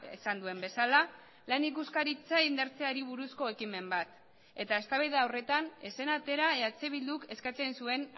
esan duen bezala lan ikuskaritza indartzeari buruzko ekimen bat eta eztabaida horretan ez zen atera eh bilduk eskatzen zuen